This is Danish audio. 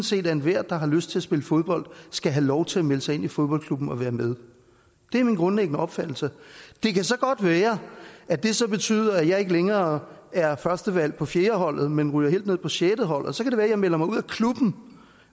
set at enhver der har lyst til at spille fodbold skal have lov til at melde sig ind i fodboldklubben og være med det er min grundlæggende opfattelse det kan så godt være at det betyder at jeg ikke længere er førstevalg på fjerdeholdet men ryger helt ned på sjetteholdet og så kan at jeg melder mig ud af klubben